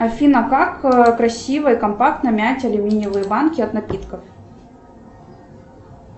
афина как красиво и компактно мять алюминиевые банки от напитков